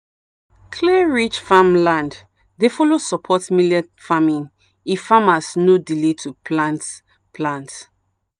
clay-rich farmland dey fellow support millet farming if farmers no delay to plant. plant.